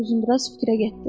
Uzundraz fikrə getdi.